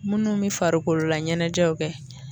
Munnu bi farikolo la ɲɛnajɛw kɛ